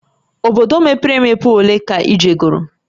Obodo mepere emepe ole ka ị jegoro?